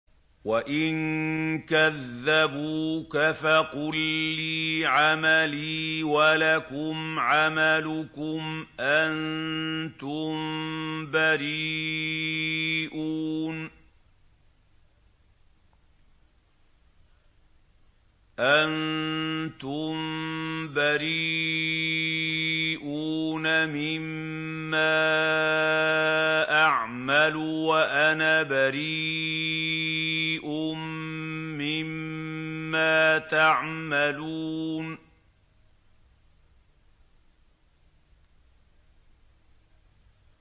وَإِن كَذَّبُوكَ فَقُل لِّي عَمَلِي وَلَكُمْ عَمَلُكُمْ ۖ أَنتُم بَرِيئُونَ مِمَّا أَعْمَلُ وَأَنَا بَرِيءٌ مِّمَّا تَعْمَلُونَ